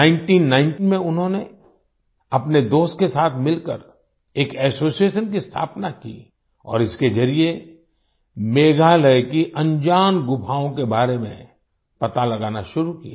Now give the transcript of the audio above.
1990 में उन्होंने अपने दोस्त के साथ मिलकर एक एसोसिएशन की स्थापना की और इसके जरिए मेघालय की अनजान गुफाओं के बारे में पता लगाना शुरू किया